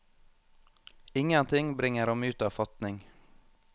Ingenting bringer ham ut av fatning.